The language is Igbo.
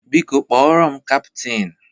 Biko kpọrọ m kaptin!